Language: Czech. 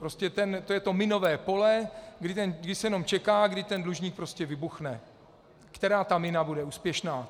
Prostě to je to minové pole, kdy se jenom čeká, kdy ten dlužník prostě vybuchne, která ta mina bude úspěšná.